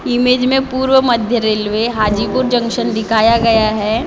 Image मैं पूरव मध्य रेलवे हाजीपुर जंक्शन दिखाया गया हैं यहाँ पर।